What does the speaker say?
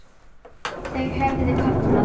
Þau höfðu kafnað.